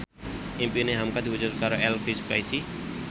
impine hamka diwujudke karo Elvy Sukaesih